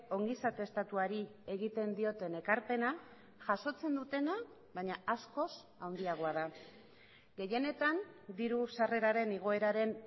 ongizate estatuari egiten dioten ekarpena jasotzen dutena baina askoz handiagoa da gehienetan diru sarreraren igoeraren